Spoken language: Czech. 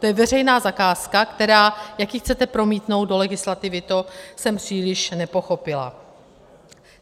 To je veřejná zakázka, která - jak ji chcete promítnout do legislativy, to jsem příliš nepochopila.